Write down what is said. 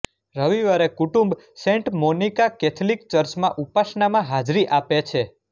રવિવારે કુટુંબ Saint Monica Catholic ચર્ચમાં ઉપાસનામાં હાજરી આપે છે